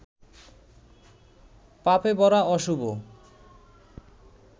পাপেভরা অশুভ